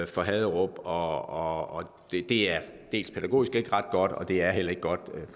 for haderup og det er pædagogisk ikke ret godt og det er heller ikke godt